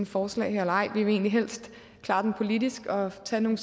forslag her eller ej vi vil egentlig helst klare den politisk og tage nogle